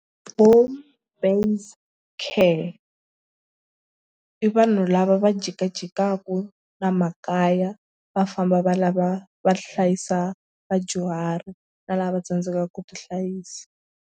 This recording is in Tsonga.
Home based care i vanhu lava va jikajikaku na makaya va famba va lava va hlayisa vadyuhari na lava tsandzekaka ku tihlayisa.